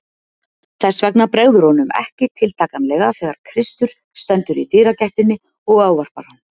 Þess vegna bregður honum ekki tiltakanlega þegar Kristur stendur í dyragættinni og ávarpar hann.